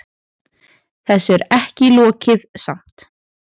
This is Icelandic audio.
Þessu er ekki lokið samt.